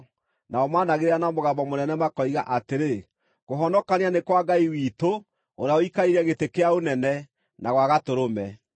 Nao maanagĩrĩra na mũgambo mũnene makoiga atĩrĩ: “Kũhonokania nĩ kwa Ngai witũ, ũrĩa ũikarĩire gĩtĩ kĩa ũnene, na gwa Gatũrũme.”